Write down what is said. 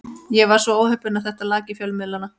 Ég var svo óheppinn að þetta lak í fjölmiðla.